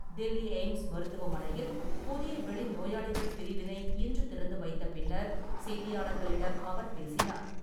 Delhi AIIMS மருத்துவமனையில் புதிய வெளி நோயாளிகள் பிரிவினை இன்று திறந்து வைத்த பின்னர் செய்தியாளர்களிடம் அவர் பேசினார்.